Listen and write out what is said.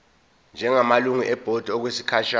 njengamalungu ebhodi okwesikhashana